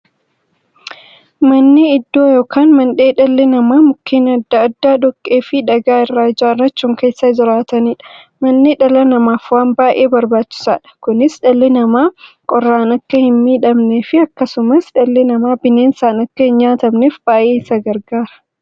Manni iddoo yookiin mandhee dhalli namaa Mukkeen adda addaa, dhoqqeefi dhagaa irraa ijaarachuun keessa jiraataniidha. Manni dhala namaaf waan baay'ee barbaachisaadha. Kunis, dhalli namaa qorraan akka hinmiidhamneefi akkasumas dhalli namaa bineensaan akka hinnyaatamneef baay'ee isaan gargaara.